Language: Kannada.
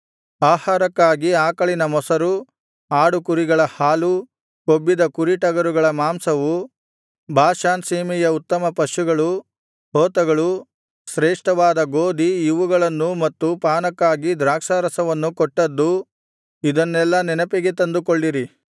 ಆಹಾರಕ್ಕಾಗಿ ಆಕಳಿನ ಮೊಸರು ಆಡು ಕುರಿಗಳ ಹಾಲು ಕೊಬ್ಬಿದ ಕುರಿ ಟಗರುಗಳ ಮಾಂಸವು ಬಾಷಾನ್ ಸೀಮೆಯ ಉತ್ತಮಪಶುಗಳು ಹೋತಗಳು ಶ್ರೇಷ್ಠವಾದ ಗೋದಿ ಇವುಗಳನ್ನೂ ಮತ್ತು ಪಾನಕ್ಕಾಗಿ ದ್ರಾಕ್ಷಿಯರಸವನ್ನೂ ಕೊಟ್ಟದ್ದೂ ಇದನ್ನೆಲ್ಲಾ ನೆನಪಿಗೆ ತಂದುಕೊಳ್ಳಿರಿ